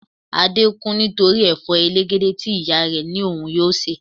Adé kùn nítorí Ẹ̀fọ́ elegede tí ìyá rẹ ní òun yóò se.